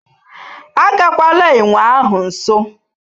Agagwala enwe ahụ nso